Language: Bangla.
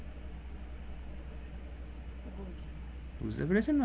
বুঝতে পেরেছেন ম্যাম?